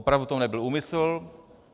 Opravdu to nebyl úmysl.